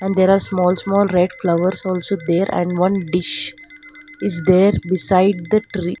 And there are small small red flowers also there and one dish is there beside the tree.